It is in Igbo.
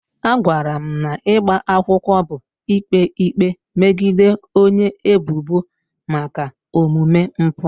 A gwara m na ịgba akwụkwọ bụ ikpe ikpe megide onye ebubo maka omume mpụ.